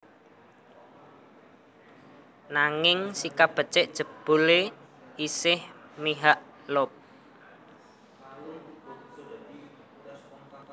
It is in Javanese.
Nanging nasib becik jebulé isih mihak Loeb